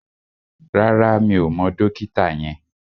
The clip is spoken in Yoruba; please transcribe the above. Rárá, mi ò mọ dókítà yẹn